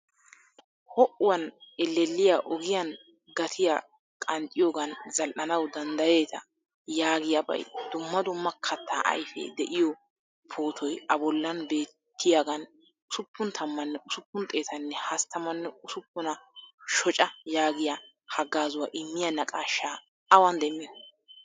Ho'uwan elleliyaa ogiyan gatiyaa qanxxiyogan zal'anawu danddayetta yaagiyaabay dumma dumma katta ayfee de'iyo pootoy a bollan beettiyagan ussuppun tamane hosppun xeetane hasttamane usuppuna shocca yaagiya hagazuwaa immiya naaqashsha awan demiyo?